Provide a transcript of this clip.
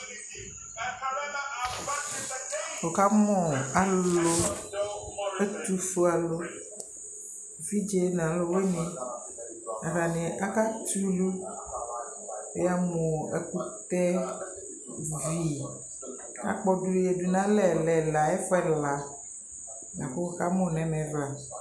Wʋkamʋ alʋ ɛtʋfuealʋ evidze nʋ alʋvini Atani akatɛ ulu Yamʋ ɛkʋtɛvi akpɔdʋ nʋ yadʋ nʋ alɛ mʋ ɛla ɛfu ɛla la kʋ wʋkamʋ nʋ ɛmɛ vla